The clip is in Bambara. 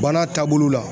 Baara taabolo la